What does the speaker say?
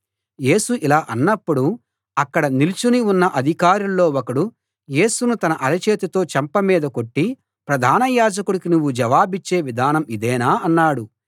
యేసు ఇలా అన్నప్పుడు అక్కడ నిలుచుని ఉన్న అధికారుల్లో ఒకడు యేసును తన అరచేతితో చెంప మీద కొట్టి ప్రధాన యాజకుడికి నువ్వు జవాబిచ్చే విధానం ఇదేనా అన్నాడు